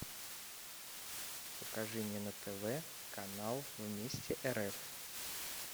покажи мне на тв канал вместе рф